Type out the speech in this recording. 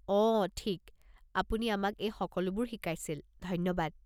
অহ, ঠিক, আপুনি আমাক এই সকলোবোৰ শিকাইছিল, ধন্যবাদ।